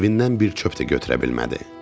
Evindən bir çöp də götürə bilmədi.